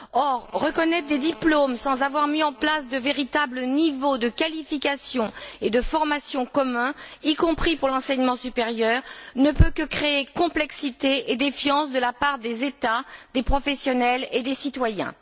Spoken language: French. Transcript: Or, reconnaître des diplômes sans avoir mis en place de véritables niveaux de qualification et de formation communs, y compris pour l'enseignement supérieur, ne peut que créer complexité et défiance de la part des États, des professionnels et des citoyens.